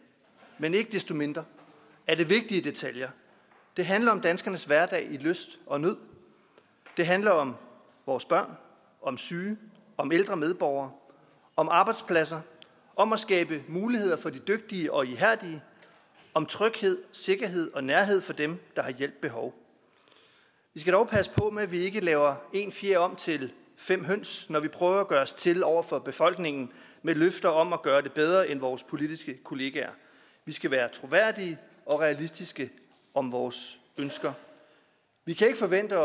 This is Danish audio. men ikke desto mindre er det vigtige detaljer det handler om danskernes hverdag i lyst og nød det handler om vores børn om syge om ældre medborgere om arbejdspladser om at skabe muligheder for de dygtige og ihærdige om tryghed sikkerhed og nærhed for dem der har hjælp behov vi skal dog passe på med at vi ikke laver en fjer om til fem høns når vi prøver at gøre os til over for befolkningen med løfter om at gøre det bedre end vores politiske kollegaer vi skal være troværdige og realistiske om vores ønsker vi kan ikke forvente